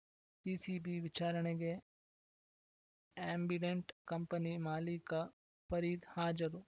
CCB ವಿಚಾರಣೆಗೆ Ambidant company ಮಾಲೀಕ ಫರೀದ್‌ ಹಾಜರು